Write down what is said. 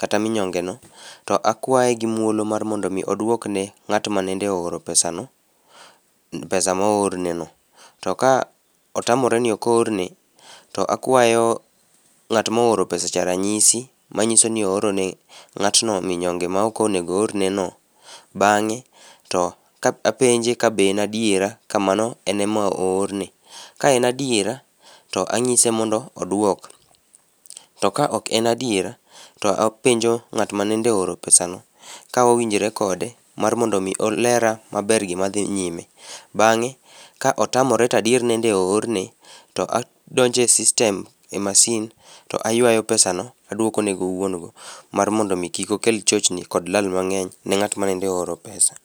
kata minyongene to akwaye gi muolo mar mondo mi oduok ne ng'at mane ooro pesano, pesa ma oorneno to ka otamore ni ok oorne to akwaye ng'at mooro pesacha ranyisi manyiso ni or ne ng'atno minyonge ma ok ne onego oroneno bang'e to apenje ka be en adiera kamano en ema ne oorne. Ka en adiera to anyise mondo oduok to ka ok en adiera to apenjo ng'at manende ooro pesane ka owinjore kode mar mondo mi olera maber gima dhi nyime. Bang'e ka otamore to adier nende oorne to adonjo e system e masin to ayuayo pesano aduoko ne wuon go mar mondo mi kik okel chochni gi lala mang'eny ne ng'at manende ooro pesa.